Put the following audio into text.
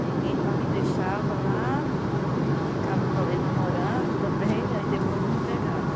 Aí minha irmã me deixava lá e ficava talvez namorando também, aí depois me pegava.